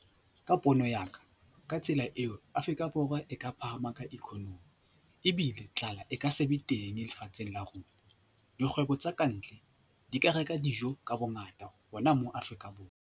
Ka pono ya, ka tsela eo, Afrika Borwa e ka phahama ka economy ebile tlala e ka se be teng lefatsheng la rona. Dikgwebo tsa ka ntle di ka reka dijo ka bongata hona mo Afrika Borwa.